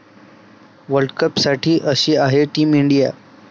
वर्ल्डकपसाठी अशी आहे team India